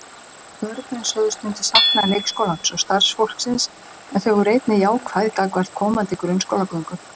Börnin sögðust myndu sakna leikskólans og starfsfólksins en þau voru einnig jákvæð gagnvart komandi grunnskólagöngu.